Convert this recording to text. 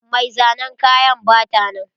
Mai zanen kaya bata nan.